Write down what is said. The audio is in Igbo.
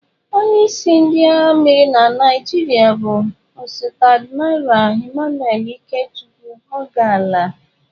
Onye isi ndị agha mmiri na Naịjirịa bụ osote Admiral Emmanuel Ikechukwu Ogalla.